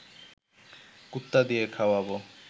কুত্তা দিয়ে খাওয়াব